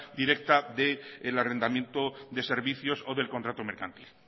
directa del arrendamiento de servicios o del contrato mercantil